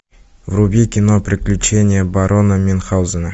вруби кино приключения барона мюнхгаузена